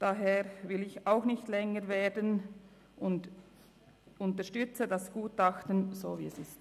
Daher will auch ich nicht länger werden und unterstütze das Gutachten so wie es ist.